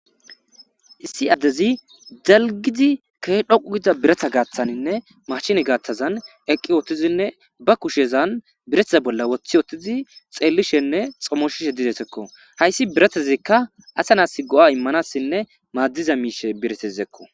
Issi addezi dalgizi kehe dhoqu gida biretha gaaththaninne mashine gaaththazan eqqi wottizinne ba kushezan biretheza bolla woththi wottizi xeellishenne xommoshishe didesekko hayssi biretezikka asanas go7a immanassinne maaddiza miishe biresezekko.